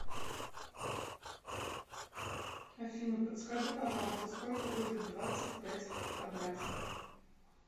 афина подскажи пожалуйста сколько будет двадцать пять в квадрате